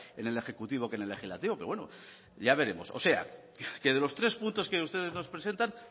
en el ejecutivo que en el legislativo pero bueno ya veremos o sea que de los tres puntos que ustedes nos presentan